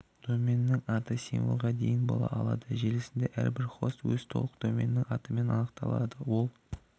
доменнің аты символға дейін бола алады желісінде әр бір хост өз толық доменді атымен анықталады ол